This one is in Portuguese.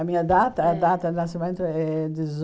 A minha data Hum a data de nascimento é